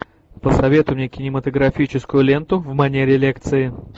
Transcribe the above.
посоветуй мне кинематографическую ленту в манере лекции